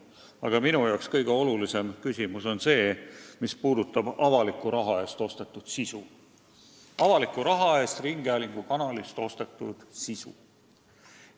Aga minu jaoks on kõige olulisem küsimus see, mis puudutab avaliku raha eest ringhäälingukanalilt ostetud sisu.